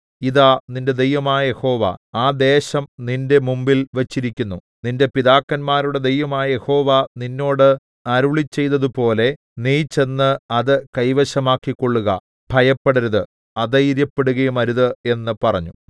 ഇതാ നിന്റെ ദൈവമായ യഹോവ ആ ദേശം നിന്റെ മുമ്പിൽ വച്ചിരിക്കുന്നു നിന്റെ പിതാക്കന്മാരുടെ ദൈവമായ യഹോവ നിന്നോട് അരുളിച്ചെയ്തതുപോലെ നീ ചെന്ന് അത് കൈവശമാക്കിക്കൊള്ളുക ഭയപ്പെടരുത് അധൈര്യപ്പെടുകയും അരുത് എന്ന് പറഞ്ഞു